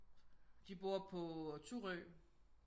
De bor på Thurø